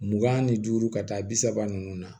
Mugan ni duuru ka taa bi saba ninnu na